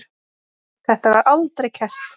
Þetta var aldrei kært.